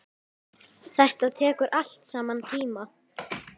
Þetta tekur allt saman tíma.